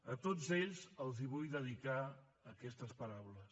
a tots ells els vull dedicar aquestes paraules